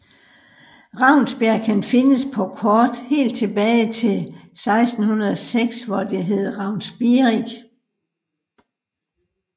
Ravnsbjerg kan findes på kort helt tilbage til 1606 hvor det hed Raffnsbierig